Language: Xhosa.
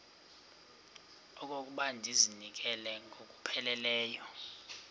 okokuba ndizinikele ngokupheleleyo